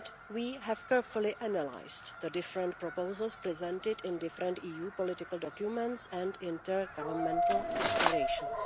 We have carefully analysed the different proposals presented in different EU political documents and intergovernmental declarations.